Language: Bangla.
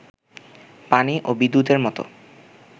পানি ও বিদ্যুতের মতো